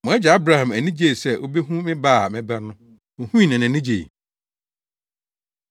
Mo agya Abraham ani gyee sɛ obehu me ba a mɛba no. Ohui na nʼani gyei.”